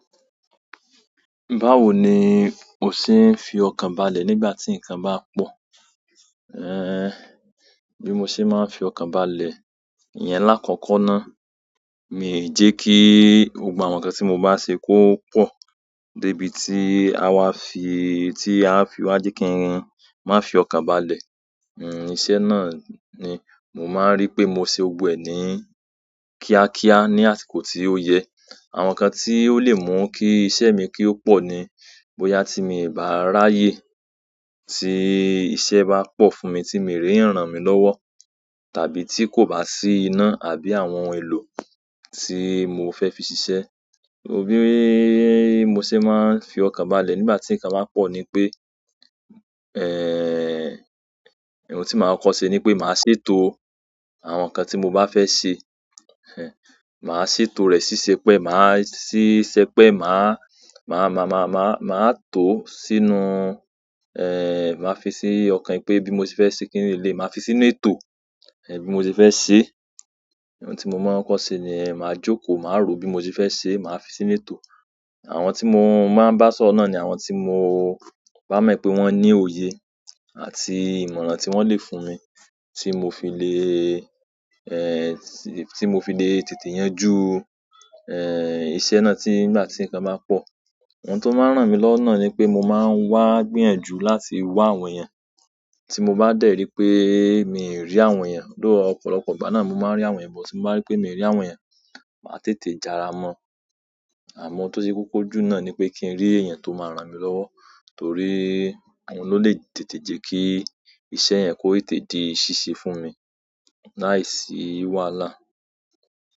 Báwo ni o ṣe ń fi ọkàn balẹ̀ nígbà tí nǹkan bá pọ̀? Ehn, bí mo ṣe máa ń fi ọkàn balẹ̀, ìyẹn lákòókó ná. Mi ò jẹ́ kí gbogbo àwọn nǹkan tí mo bá ṣe kó pọ̀ dé ibi tí àwa fi, tí a fi wá jẹ́ kí n má fì ọkàn balẹ̀. Iṣẹ́ náà ni mo máa ń rí pé mo ṣe gbọgbọ ẹ̀ ní kíákíá ní àsìkò tí ó yẹ. Àwọn nǹkan tí ó lè mú kí iṣẹ́ mi ki ó pọ̀ ni bóyá tí mi bá ráyè tí iṣẹ́ bá pọ̀ fún mi tí mi rí eyan ran mi lọ́wọ́, tàbí tí kò bá sí iná àbí àwọn ohun èlò tí mo fẹ́ fi ṣiṣẹ́. Bí mo ṣe máa ń fi ọkàn balẹ̀ nígbà tí nǹkan ba pọ̀ ni pé, ehn, ohun tí màá kọ́ ṣe ni pé màá ṣètò àwọn nkan tí mo bá fẹ́ ṣe. Màá ṣètò rẹ̀ ṣíṣẹ́pẹ́, màá ṣíṣẹ́pẹ́, màá, tó sínú, màá fi sí ọ̀kan pé bí mo ṣe fẹ́ ṣe kíni lè, màá fi sínú ètò, bí mo ṣe fẹ́ ṣe. Ohun tí mo máa ń kọ́ ṣe ni màá jókòó, màá rò ó bí mo ṣe fẹ́ ṣe, màá fi sínú ètò. Àwọn tí mo máa ń bá sọ̀rọ̀ náà ni àwọn tí mo bá mọ̀ pé wọ́n ní òye àti ìmọ̀ràn tí wọ́n lè fún mi tí mo fi le, tí mo fi lè tètè yanjú, iṣẹ́ náà tí nígbà tí nkan bá pọ̀. Ohun tó máa ń ràn mí lọ́wo náà ni pé mo máa ń wá gbíyànjú láti wá àwọn èèyàn. Tí mo bá dẹ̀rí pé mi ò rí àwọn èèyàn, though ọ̀pọ̀lọpọ̀ ìgbà náà mo máa ń rí àwọn èèyàn, bó ti mo bá rí pé mi ò rí àwọn èèyàn, màá tètè jara mọ́. Àmọ́ tó ṣe kókó jù náà ni pé kí n rí èèyàn tó máa ran mi lọ́wọ́, torí àwọn ló lè tètè jẹ́ kí iṣẹ́ yẹn kó tètè di ṣíṣe fún mi láìsí wàhálà.